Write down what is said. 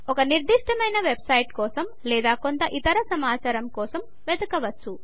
ఒక నిర్దిష్టమైన వెబ్సైట్ కోసం లేదా కొంత ఇతర సమాచారం కోసం వెదకవచ్చు